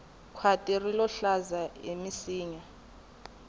khwati rilo hlaza hi minsinya